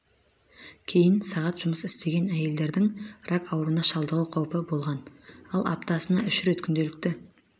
кейін сағат жұмыс істеген әйелдердің рак ауруына шалдығу қаупі болған ал аптасына үш рет күнделікті